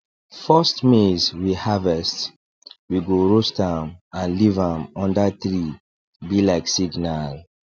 first maize we harvest we go roast am and leave am under treee be like signal